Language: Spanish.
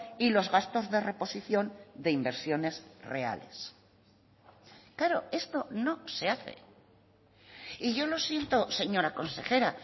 y los gastos de reposición de inversiones reales claro esto no se hace y yo lo siento señora consejera